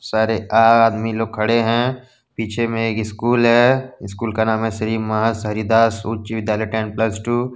सारे आदमी लोग खड़े है पीछे में एक स्कूल है स्कूल का नाम है श्री महस हरिदास उच्च विद्यालय टेन प्लस टू ।